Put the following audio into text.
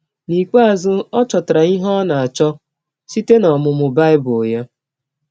N’ikpeazụ, ọ chọtara ihe ọ nọ na - achọ site n’ọmụmụ Bible ya.